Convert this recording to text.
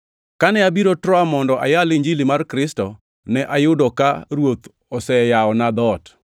Kane abiro Troa mondo ayal Injili mar Kristo ne ayudo ka Ruoth noseyawona dhoot,